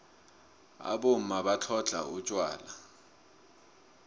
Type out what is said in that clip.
abomma batlhodlha utjwala